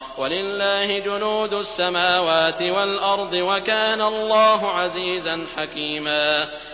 وَلِلَّهِ جُنُودُ السَّمَاوَاتِ وَالْأَرْضِ ۚ وَكَانَ اللَّهُ عَزِيزًا حَكِيمًا